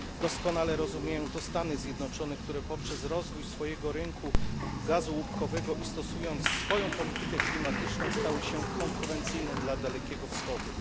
Doskonale rozumieją to Stany Zjednoczone, które poprzez rozwój swojego rynku gazu łupkowego i stosując swoją politykę klimatyczną, stały się konkurencyjne dla Dalekiego Wschodu.